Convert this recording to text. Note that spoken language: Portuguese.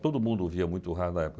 Todo mundo ouvia muito rádio na época.